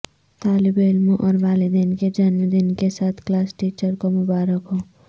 طالب علموں اور والدین کے جنم دن کے ساتھ کلاس ٹیچر کو مبارک ہو